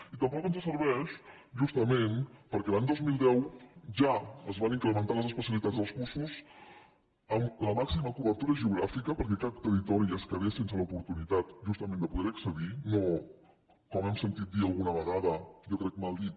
i tampoc ens serveix justament perquè l’any dos mil deu ja es van incrementar les especialitats dels cursos amb la màxima cobertura geogràfica perquè cap territori es quedes sense l’oportunitat justament de poder hi accedir no com hem sentit dir alguna vegada jo crec que mal dit